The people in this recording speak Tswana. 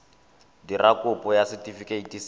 dira kopo ya setefikeiti sa